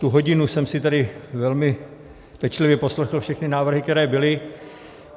Tu hodinu jsem si tady velmi pečlivě poslechl všechny návrhy, které byly.